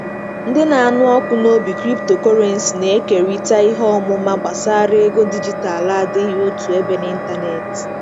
Ndị na-anụ ọkụ n'obi Cryptocurrency na-ekerịta ihe ọmụma gbasara ego dijitalụ adịghị otu ebe n'ịntanetị.